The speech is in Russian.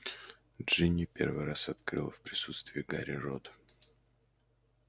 джинни первый раз открыла в присутствии гарри рот